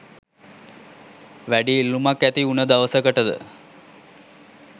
වැඩි ඉල්ලුමක් ඇතිඋන දවසකට